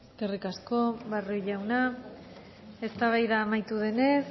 eskerrik asko barrio jauna eztabaida amaitu denez